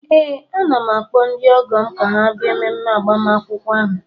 Ee, ana m akpọ ndị ọgọ m ka ha bịa mmemme agbamakwụkwọ ahụ